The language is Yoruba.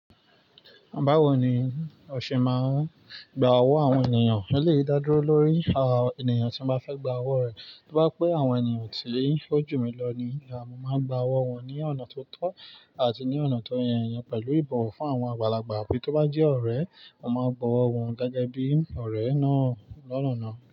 Báwo ni ọ ṣe máa ń gba owó àwọn ènìyàn? Eleyii dá dúró lórí ènìyàn tí mo bá fẹ́ gba owó rẹ̀, tí o bá je pé àwọn ènìyàn tí ó jù mí lọ ni, mo máa n gba owó wọn ní ọ̀nà tó tọ́ àti ní ọ̀nà tó yẹ́ iyẹn pẹ̀lú ìbò fún àwọn àgbàlagbà, bí tó bá jẹ́ ọ̀rẹ́, mo máa gba owó wọn gẹ́gẹ́ bí ọ̀rẹ́ náà lọ́nà náà.